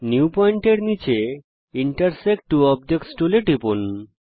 new Point এর নীচে intersect ত্ব অবজেক্টস টুলে টিপুন